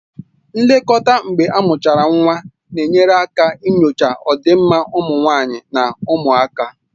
Nlekọta mgbe amuchara nwa na-enyere aka nyochaa ọdịmma ụmụ nwanyị na ụmụaka